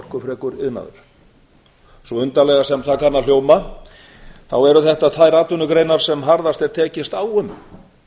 orkufrekur iðnaður svo undarlega sem það kann að hljóma þá eru þetta þær atvinnugreinar sem harðast er tekist á um